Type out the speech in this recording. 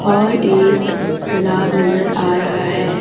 और एक तालाब नजर आ रहा है।